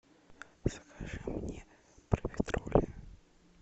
закажи мне профитроли